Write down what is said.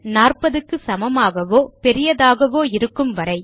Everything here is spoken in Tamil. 40 க்கு சமமாகவோ பெரியதாகவோ இருக்கும் வரை